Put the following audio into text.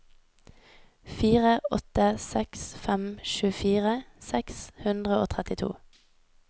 fire åtte seks fem tjuefire seks hundre og trettito